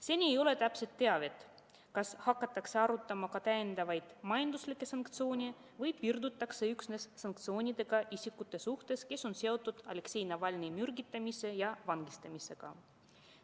Seni ei ole täpset teavet, kas hakatakse arutama ka täiendavaid majanduslikke sanktsioone või piirdutakse üksnes sanktsioonidega isikute suhtes, kes on seotud Aleksei Navalnõi mürgitamise ja vangistamisega.